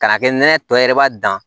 K'a kɛ nɛnɛ tɔ yɛrɛ b'a dan